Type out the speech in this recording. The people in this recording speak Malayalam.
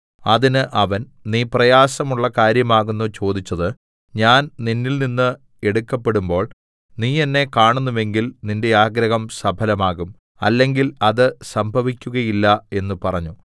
അതിന് അവൻ നീ പ്രയാസമുള്ള കാര്യമാകുന്നു ചോദിച്ചത് ഞാൻ നിന്നിൽനിന്ന് എടുക്കപ്പെടുമ്പോൾ നീ എന്നെ കാണുന്നുവെങ്കിൽ നിന്റെ ആഗ്രഹം സഫലമാകും അല്ലെങ്കിൽ അത് സംഭവിക്കുകയില്ല എന്ന് പറഞ്ഞു